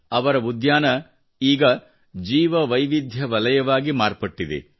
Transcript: ಅವರ ಉದ್ಯಾನ ಈಗ ಜೀವವೈವಿಧ್ಯ ವಲಯವಾಗಿ ಮಾರ್ಪಟ್ಟಿದೆ